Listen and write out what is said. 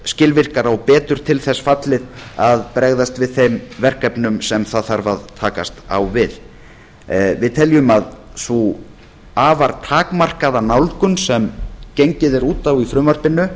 skilvirkara og betur til þess fallið að bregðast við þeim verkefnum sem það þarf að takast á við við teljum að sú afar takmarkaða nálgun sem gengið er út á í frumvarpinu